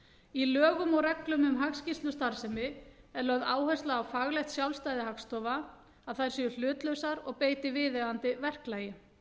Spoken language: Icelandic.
í lögum og reglum um hagskýrslustarfsemi er lögð áhersla á faglegt sjálfstæði hagstofa að þær séu hlutlausar og beiti viðeigandi verklagi